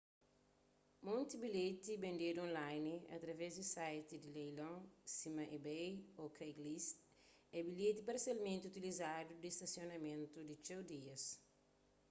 monti bilheti bendedu online através di site di leilon sima ebay ô craigslist é bilheti parsialmenti utilizadu di stasionamentu di txeu dias